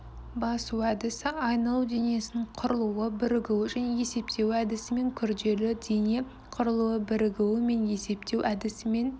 басу әдісі айналу денесінің құрылуы бірігуі және есептеуі әдісімен күрделі дене құрылуы бірігу мен есептеу әдісімен